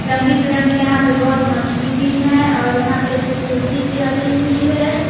रंगी बिरंगी यहां पे बहुत मछली भी हैं और यहां पे कुर्सी भी रखी हुई है।